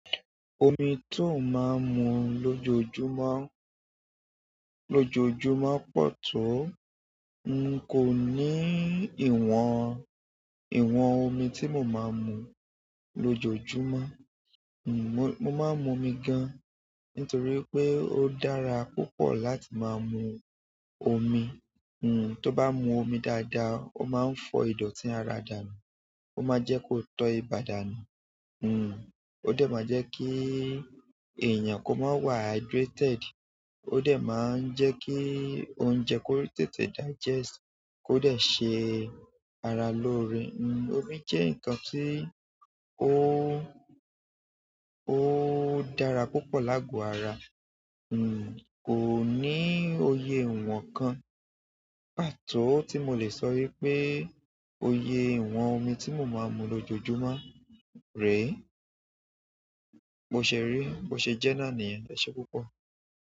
Omi to n maa n mu lojoojumọ pọ to. N kò ní ìwọ̀n, ìwọ̀n omi tí mo máa ń mu lójoójúmọ́. N ò, mo máa ń mu omi gan. Nítorí pé ó dára púpọ̀ láti máa mu omi. N to ba mu omi dáadáa o maa n fọ idọti ara danu. Ó máa jẹ́ kó tọ́ ibà dànù. N ò, ó dẹ̀ máa jẹ́ kí èèyàn kó máa wà hydrated. Ó dẹ̀ máa ń jẹ́ kí oúnjẹ kó tètè digest, kó dẹ̀ ṣe ara lóore. N ò, omi jẹ́ nǹkan tí ó, ó dára púpọ̀ láàgò ara. N ò, kò ní òye ìwọ̀n kan, pàtó tí mo lè sọ wípé òye ìwọ̀n omi tí mo máa ń mu lójoójúmọ́ rè. Bo ṣè ré, mo ṣè jẹ́ náà nìyẹn. Ẹ ṣé púpọ̀.